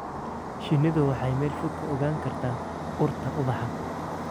Shinnidu waxay meel fog ka ogaan kartaa urta ubaxa.